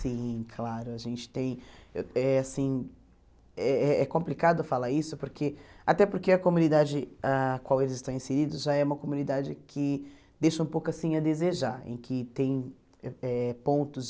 Sim, claro, a gente tem... É assim é complicado falar isso porque, até porque a comunidade a qual eles estão inseridos já é uma comunidade que deixa um pouco assim a desejar, em que tem eh pontos